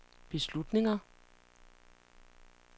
beslutninger